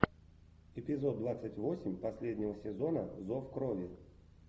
эпизод двадцать восемь последнего сезона зов крови